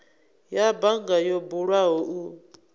ya bannga yo bulwaho u